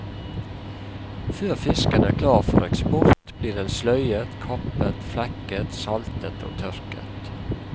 Før fisken er klar for eksport, blir den sløyet, kappet, flekket, saltet og tørket.